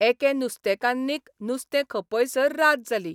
एके नुस्तेकान्नीक नुस्तें खपयसर रात जाली.